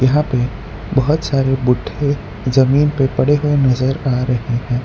यहां पे बहोत सारे बुढ्ढे जमीन पे पड़े हुए नजर आ रहे हैं।